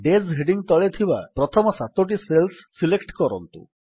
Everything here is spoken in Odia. ଡେଜ୍ ହେଡିଙ୍ଗ୍ ତଳେ ଥିବା ପ୍ରଥମ ସାତୋଟି ସେଲ୍ସ ସିଲେକ୍ଟ କରନ୍ତୁ